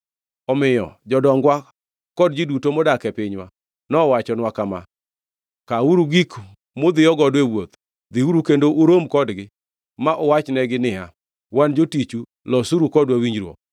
Omiyo jodongwa kod ji duto modak e pinywa nowachonwa kama, ‘Kawuru gik mudhiyo godo e wuoth, dhiuru kendo urom kodgi ma uwachnegi niya, “Wan jotiju, losuru kodwa winjruok.” ’